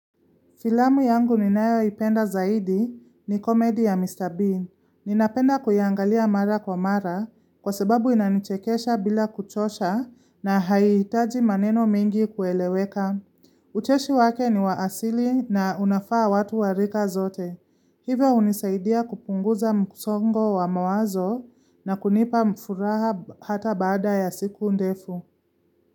Filamu yangu ninayo ipenda zaidi ni komedi ya Mr. Bean. Ninapenda kuyaangalia mara kwa mara kwa sababu inanichekesha bila kuchosha na haitaji maneno mengi kueleweka. Ucheshi wake ni waasili na unafaa watu warika zote. Hivyo hunisaidia kupunguza msongo wa mawazo na kunipa mfuraha hata baada ya siku ndefu.